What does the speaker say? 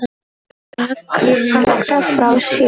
Drakk allt frá sér.